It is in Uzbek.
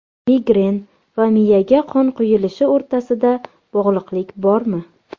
Migren va miyaga qon quyilishi o‘rtasida bog‘liqlik bormi?